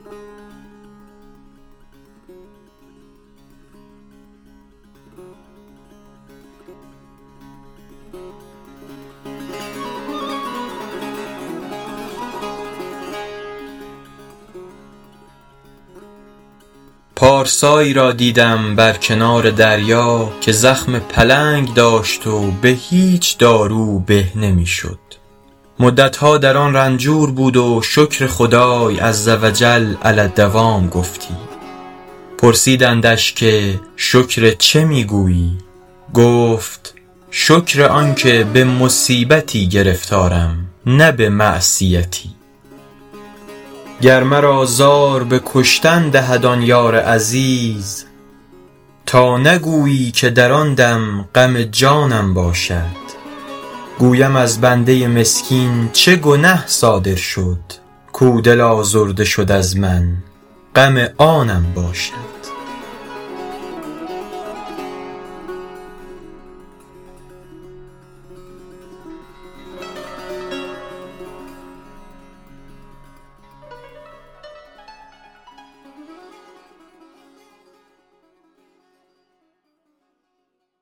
پارسایی را دیدم بر کنار دریا که زخم پلنگ داشت و به هیچ دارو به نمی شد مدتها در آن رنجور بود و شکر خدای عزوجل علی الدوام گفتی پرسیدندش که شکر چه می گویی گفت شکر آن که به مصیبتی گرفتارم نه به معصیتی گر مرا زار به کشتن دهد آن یار عزیز تا نگویی که در آن دم غم جانم باشد گویم از بنده مسکین چه گنه صادر شد کاو دل آزرده شد از من غم آنم باشد